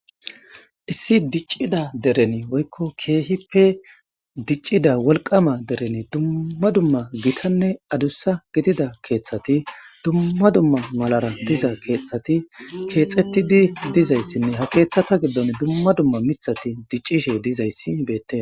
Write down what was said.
Issi diccida dereni woykko keehippe diccida wolqama dereni dumma dumma gitanne adussa gidida keeththati dumma dumma malara diza keeththati keexetidi dizayssinne ha keeththata giddon dumma dumma mithati diccishe dizayssi ibete.